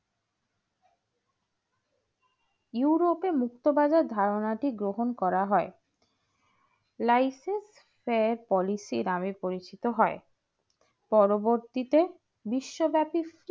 ইউরোপে মুক্তবাজার ধারণাটি গ্রহণ করা হয় live policy নামে পরিচিত হয় পরবর্তীতে বিশ্বব্যাপী